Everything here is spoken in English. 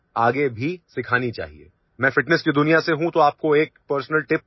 I am from the world of fitness, so I would like to give you a personal tip